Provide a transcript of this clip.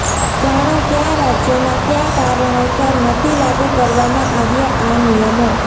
જાણો કયા રાજ્યોમાં કયા કારણોસર નથી લાગૂ કરવામાં આવ્યા આ નિયમો